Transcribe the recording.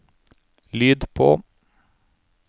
lyd på